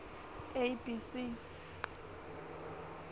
a b c